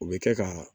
O bɛ kɛ ka